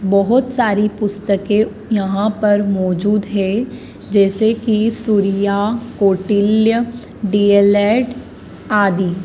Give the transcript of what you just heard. बहोत सारी पुस्तके यहां पर मौजूद है जैसे कि सूर्या कौटिल्य डीएलएड आदि।